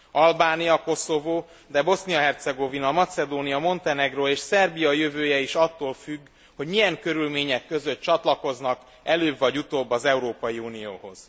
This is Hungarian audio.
Albánia, Koszovó, de Bosznia Hercegovina, Macedónia, Montenegró és Szerbia jövője is attól függ, hogy milyen körülmények között csatlakoznak előbb vagy utóbb az Európai Unióhoz.